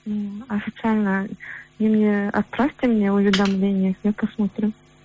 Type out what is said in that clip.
ммм официально немене отправьте мне уведомление я посмотрю